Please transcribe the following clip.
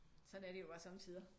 Sådan er det jo også sommetider